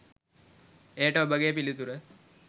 එයට ඔබගේ පිළිතුර